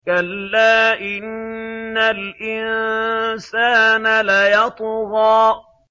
كَلَّا إِنَّ الْإِنسَانَ لَيَطْغَىٰ